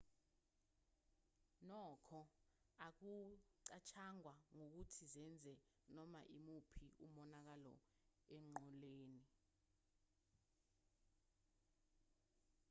nokho akucatshangwa ukuthi zenze noma imuphi umonakalo enqoleni